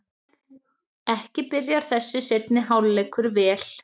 Ekki byrjar þessi seinni hálfleikur vel!